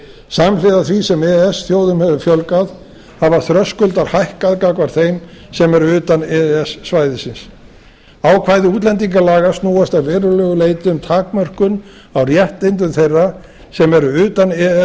samhliða því sem e e s þjóðum hefur fjölgað hafa þröskuldar hækkað gagnvart þeim sem eru utan e e s svæðisins ákvæði útlendingalaga snúast að verulegu leyti um takmörkun á réttindum þeirra sem eru utan e e s